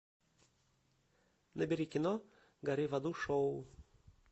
набери кино гори в аду шоу